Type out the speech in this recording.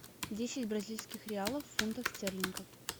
десять бразильских реалов в фунтах стерлингов